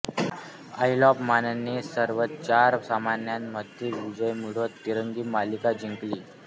आईल of मानने सर्व चार सामन्यांमध्ये विजय मिळवत तिरंगी मालिका जिंकली